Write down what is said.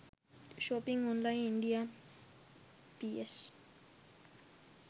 shopping online india ps